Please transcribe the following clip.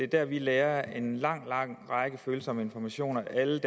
der vi lagrer en lang lang række følsomme informationer alle